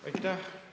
Aitäh!